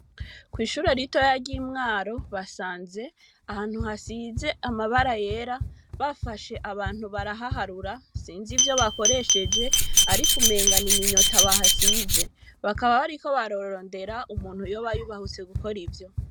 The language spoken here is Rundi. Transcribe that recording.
Kw'ishure ritoya ry'i Mwaro, basanze ahantu hasize amabara yera. Bafashe abantu barahaharura, sinzi ivyo bakoresheje ariko umenga n'iminyota bahasize, bakaba bariko bararondera umuntu yoba yubahutse gukora ivyo.